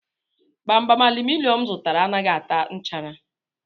Gbamgbam aluminum m zụtara anaghị ata nchara